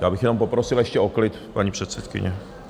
Já bych jenom poprosil ještě o klid, paní předsedkyně.